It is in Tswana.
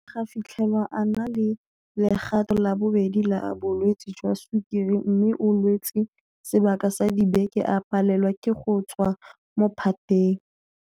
Go ne ga fitlhelwa a na le legato la bobedi la bolwetse jwa sukiri mme o lwetse sebaka sa dibeke a palelwa ke go tswa mo phateng.